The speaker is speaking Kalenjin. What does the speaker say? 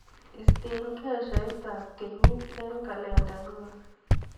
Istee keshaitap kenyit eng kalendainyu.